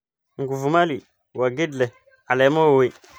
Nguvumali waa geed leh caleemo waaweyn.